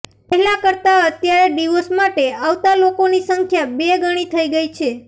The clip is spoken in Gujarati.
પહેલા કરતા અત્યારે ડિવોર્સ માટે આવતા લોકોની સંખ્યા બેગણી થઇ ગઇ છે